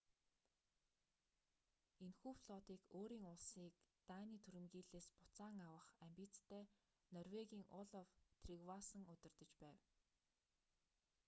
энэхүү флотыг өөрийн улсыг даний түрэмгийллээс буцаан авах амбицтай норвегийн олаф тригвассон удирдаж байв